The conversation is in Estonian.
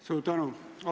Suur tänu!